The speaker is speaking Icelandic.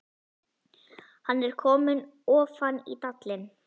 Hann er kominn ofan í dalinn